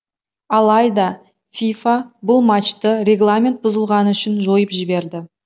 алайда фифа бұл матчты регламент бұзылғаны үшін жойып жіберді